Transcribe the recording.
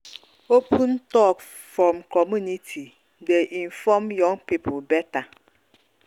open talk from community dey inform young people better.